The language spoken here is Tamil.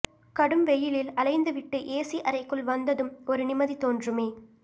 கடும் வெயிலில் அலைந்துவிட்டு ஏசி அறைக்குள் வந்ததும் ஒரு நிம்மதி தோன்றுமே